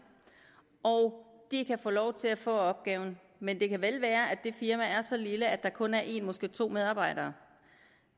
og de kan få lov til at få opgaven men det kan vel være at det firma er så lille at der kun er en måske to medarbejdere